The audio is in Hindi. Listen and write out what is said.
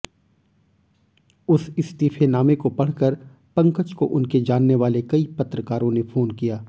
उस इस्तीफेनामे को पढ़कर पंकज को उनके जानने वाले कई पत्रकारों ने फोन किया